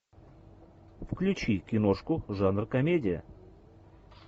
включи киношку жанр комедия